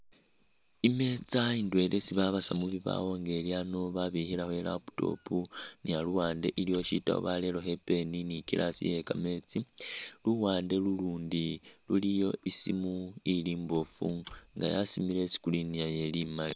Imeza indwela isi babasa mubibawo nga ilyano babikhilemo i'laptop nga luwandu ilikho sitabu barerekho i'pen ni glass ye'kameetsi luwande lulundi luliyo isimu ili imbofu nga yasimile isi screen yayo ili imaali